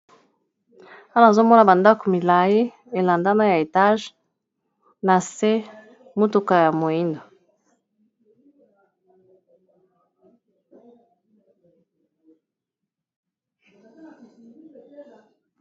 wana azomona bandako milai elandana ya etage na se motuka ya moindo